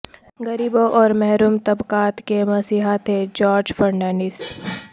غریبوں اور محروم طبقات کے مسیحا تھے جارج فرنانڈیز